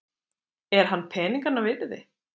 Er hann peninganna virði?